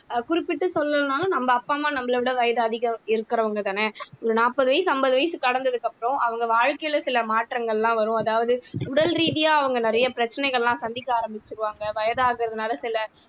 ஆஹ் குறிப்பிட்டு சொல்லலைன்னாலும் நம்ம அப்பா அம்மா நம்மளை விட வயது அதிகம் இருக்கிறவங்கதானே ஒரு நாப்பது வயசு ஐம்பது வயசு கடந்ததுக்கு அப்புறம் அவங்க வாழ்க்கையில சில மாற்றங்கள் எல்லாம் வரும் அதாவது உடல் ரீதியா அவங்க நிறைய பிரச்சனைகள் எல்லாம் சந்திக்க ஆரம்பிச்சிருவாங்க வயதாகிறதுனால சில